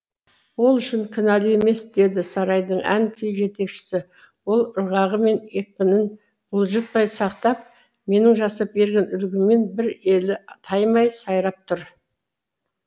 ол үшін кінәлі емес деді сарайдың ән күй жетекшісі ол ырғағы мен екпінін бұлжытпай сақтап менің жасап берген үлгімнен бір елі таймай сайрап тұр